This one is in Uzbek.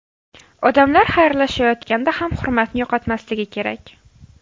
Odamlar xayrlashayotganda ham hurmatni yo‘qotmasligi kerak.